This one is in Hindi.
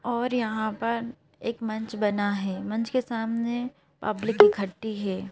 और यहाँ पर एक मंच बना है मंच के सामने पब्लिक इकट्ठी है।